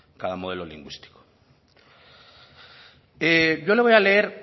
cada modelo lingüístico